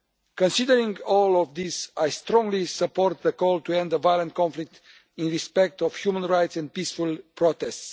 Considering all of this, I strongly support the call to end the violent conflict in respect of human rights and peaceful protests.